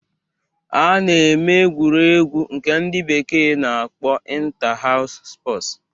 A na-eme egwuregwu nke ndị bekee na-akpọ Inta-haus spọsu